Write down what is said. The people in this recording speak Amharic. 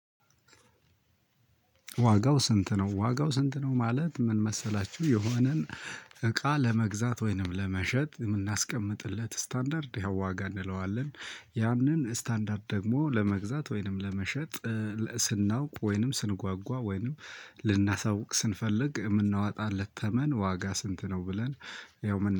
ዋጋው ስንት ነው? ዋጋው ሰንት ነው ማለት ምን መሰላችሁ የሆነን እቃ ለመግዛት ወይምን ለመሸጥ የምናስቀምጥለት ስታንዳርድ ይኸው ዋጋ እንለዋለን ያንን ስታንዳርድ ደግሞ ለመግዛት ወይም ለመሸጥ ስናውቅ ወይንም ስንጓጓ ወይንም ልናሳውቅ ስንፈልግ የምናወጣለት ተመን ዋጋ ስንት ነው ብለን ያው